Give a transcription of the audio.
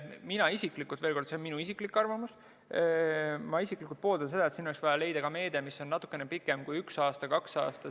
Mina isiklikult – see on minu isiklik arvamus – pooldan seda, et siin oleks vaja leida meede, mis on natuke pikemaks ajaks kui üks aasta või kaks aastat.